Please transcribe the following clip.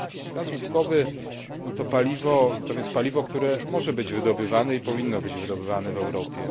Gaz łupkowy to więc paliwo, które może być wydobywane i powinno być wydobywane w Europie.